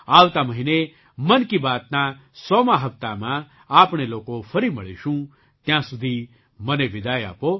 આવતા મહિને મન કી બાતના સોમા 100મા હપ્તામાં આપણે લોકો ફરી મળીશું ત્યાં સુધી મને વિદાય આપો